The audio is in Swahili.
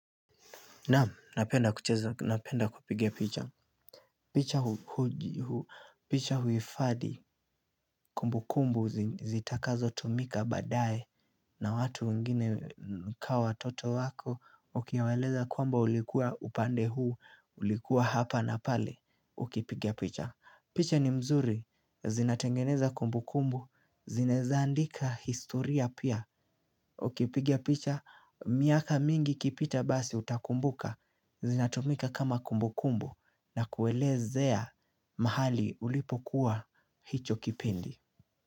Naam napenda kucheza napenda kupiga picha picha picha huhifadhi kumbukumbu zitakazo tumika badae. Na watu wengine ka watoto wako. Ukiwaeleza kwamba ulikuwa upande huu. Ulikuwa hapa na pale. Ukipiga picha. Picha ni mzuri, zinatengeneza kumbukumbu, zinaeza andika historia pia, ukipiga picha miaka mingi ikipita basi utakumbuka, zinatumika kama kumbukumbu na kuelezea mahali ulipokuwa hicho kipindi.